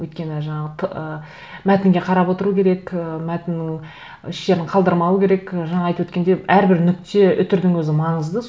өйткені жаңа мәтінге қарап отыру керек і мәтіннің еш жерін қалдырмау керек жаңа айтып өткендей әрбір нүкте үтірдің өзі маңызды